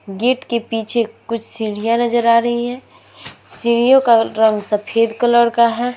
Gate के पीछे कुछ सीढ़ियाँ नजर आ रही हैं। सीढ़ियों का रंग सफेद कलर का है।